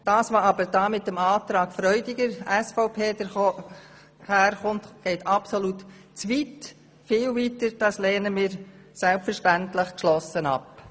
Was aber im Antrag SVP Freudiger präsentiert wird, geht viel zu weit, und dies lehnen wir selbstverständlich geschlossen ab.